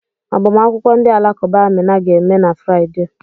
Agbamakwụkwọ ndị Alakụba Amina ga-eme na Fraịde.